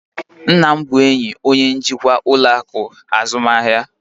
nna m bụ enyi onye njikwa ụlọ akụ azụmahịa